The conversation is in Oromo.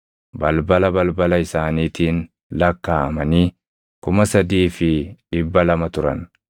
balbala balbala isaaniitiin lakkaaʼamanii 3,200 turan.